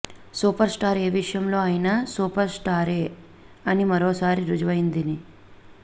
super star ఏ విషయంలో అయినా సూపర్ స్టారే అని మరోసారి రుజువైందని